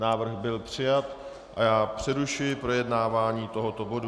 Návrh byl přijat a já přerušuji projednávání tohoto bodu.